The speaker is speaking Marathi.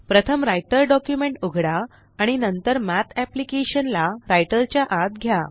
प्रथम Writerडॉक्युमेंट उघडा आणि नंतर Mathअप्लिकेशन ला राइटर च्या आत घ्या